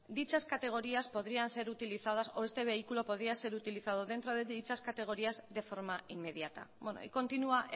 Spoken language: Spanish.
dichas categorías podrían ser utilizadas o este vehículo podría ser utilizado dentro de dichas categorías de forma inmediata bueno y continúa